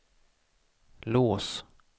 lås